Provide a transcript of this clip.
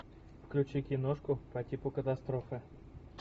включи киношку по типу катастрофы